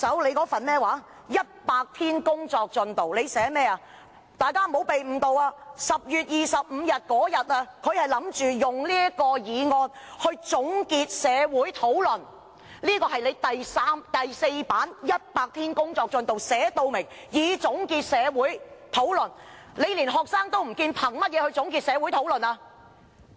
大家不要被誤導，她是打算在10月25日，以這個議案來"總結社會討論"，這是她在"就任首100天工作進展"第4頁寫明，動議該議案"以總結社會討論"。